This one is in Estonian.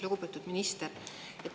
Lugupeetud minister!